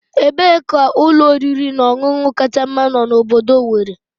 Ebee ka ụlọ oriri na ọṅụṅụ kacha mma no na obodo Owere?